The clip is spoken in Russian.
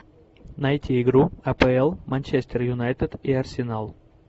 найти игру апл манчестер юнайтед и арсенал